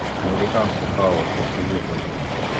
американский хаос посоветуй мне